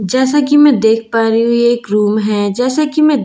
जैसा की मैं देख पा रही हूँ ये एक रूम हैं जैसा की मैं देख पा रही हूँ --